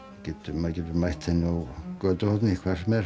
maður getur mætt henni á götuhorni hvar sem er